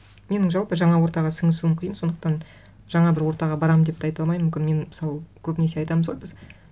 менің жалпы жаңа ортаға сіңісуім қиын сондықтан жаңа бір ортаға барамын деп те айта алмаймын мүмкін мен мысалы көбінесе айтамыз ғой біз